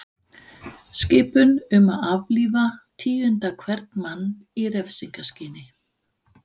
Skipun um að aflífa tíunda hvern mann í refsingarskyni.